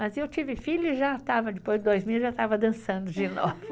Mas eu tive filho e já estava, depois de dois meses, já estava dançando de novo.